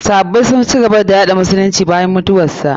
Sahabbai sun ci gaba da yaɗay musulunci bayan mutuwarsa.